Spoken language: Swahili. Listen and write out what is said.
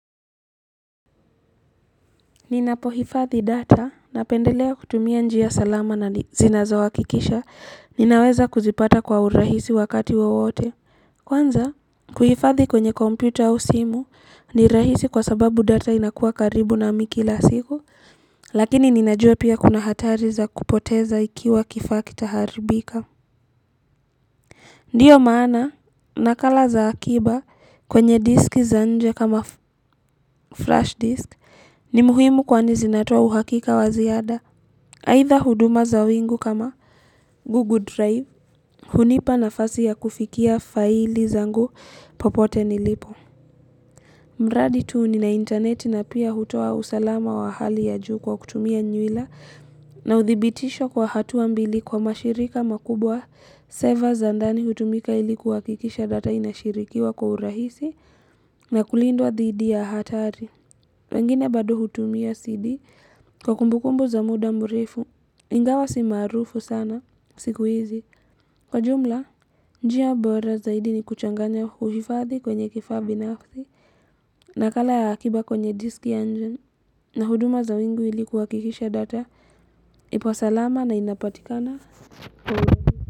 Ninapohifadhi data, napendelea kutumia njia salama na zinazohakikisha ninaweza kuzipata kwa urahisi wakati wowote. Kwanza, kuhifadhi kwenye kompyuta au simu ni rahisi kwa sababu data inakuwa karibu nami kila siku, lakini ninajua pia kuna hatari za kupoteza ikiwa kifaa kitaharibika. Ndiyo maana nakala za akiba kwenye disk za nje kama flash disk ni muhimu kwani zinatoa uhakika wa ziada. Aidha huduma za wingu kama Google Drive hunipa nafasi ya kufikia faili zangu popote nilipo. Mradi tu nina intaneti na pia hutoa usalama wa hali ya juu kwa kutumia nywila na uthibitisho kwa hatua mbili kwa mashirika makubwa server za ndani hutumika ili kuhakikisha data inashirikiwa kwa urahisi na kulindwa dhidi ya hatari. Wengine bado hutumia CD kwa kumbukumbu za muda mrefu ingawa si maarufu sana siku hizi kwa jumla. Njia bora zaidi ni kuchanganya uhifadhi kwenye kifaa binafsi nakala ya akiba kwenye disk ya nje na huduma za wingu ili kuhakikisha data ipo salama na inapatikana kwa urahisi.